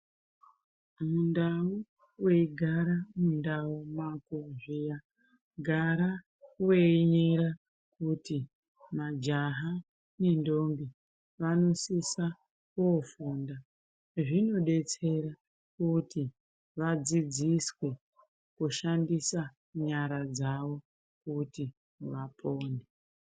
Mundau weigara mundau mako zviya gara weinyera kuti majaha nendombi vanosisa kofunda. Zvinodetsera kuti vadzidziswe kushandisa nyara dzavo kuti vapone.